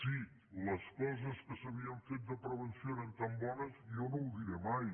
si les coses que s’havien fet de prevenció eren tan bones jo no ho diré mai